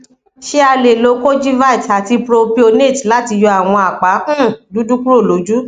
ṣé a lè lo kojivit àti propionate láti yọ àwọn apa um dúdú kúrò lójú